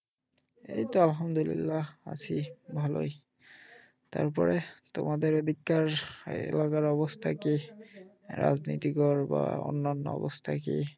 এইতো আলহামদুলিল্লাহ আছি ভালোই। তারপরে তোমাদের এদিকটার এলাকার অবস্থা কি? রাজনীতিক বা অন্যান্য অবস্থা কি